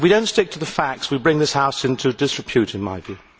If we do not stick to the facts, we bring this House into disrepute, in my view.